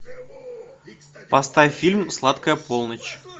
поставь фильм сладкая полночь